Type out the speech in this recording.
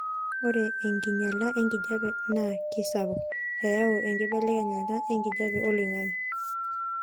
ore enkinyala enkijape naa kesapuk eyau enkibelekenyata enkijape oloingangi